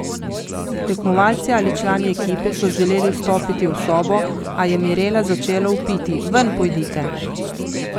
Tekmovalci ali člani ekipe so želeli vstopiti v sobo, a je Mirela začela vpiti: 'Ven pojdite!